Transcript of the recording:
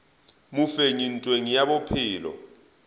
mofenyi ntweng ye ya bophelo